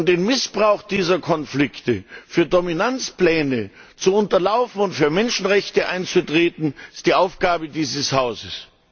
Den Missbrauch dieser Konflikte für Dominanzpläne zu unterlaufen und für Menschenrechte einzutreten, ist die Aufgabe dieses Hauses.